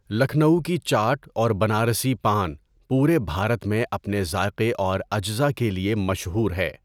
لکھنؤ کی چاٹ اور بنارسی پان پورے بھارت میں اپنے ذائقے اور اجزا کے لیے مشہور ہے۔